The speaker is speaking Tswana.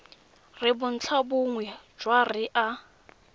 re bontlhabongwe jwa re a